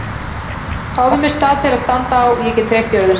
Fáðu mér stað til að standa á og ég get hreyft jörðina!